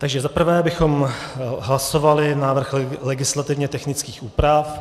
Takže za prvé bychom hlasovali návrh legislativně technických úprav.